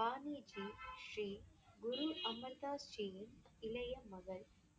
பாணி ஜி ஜி குரு அமர் தாஸ் ஜியின் இளைய மகள்.